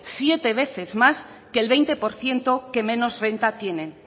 siete veces más que el veinte por ciento que menos renta tienen